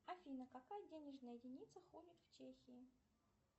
афина какая денежная единица ходит в чехии